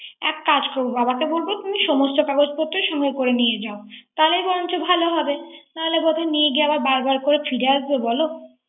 এককাজ করব বাবাকে বলব তুমি সমস্ত কাগজপত্র সংগে করে নিয়া যাও। তাহলেই বরংচো ভালো। নাহলে বোধহয় নিয়ে গেয়ে বার বার করে ফিরে আসবো